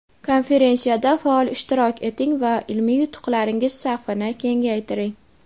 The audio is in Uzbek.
Konferensiyada faol ishtirok eting va ilmiy yutuqlaringiz safini kengaytiring!.